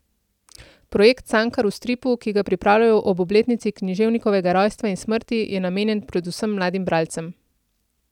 Projekt Cankar v stripu, ki ga pripravljajo ob obletnici književnikovega rojstva in smrti, je namenjen predvsem mladim bralcem.